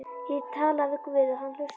Ég tala við guð og hann hlustar.